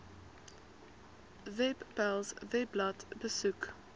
webpals webblad besoek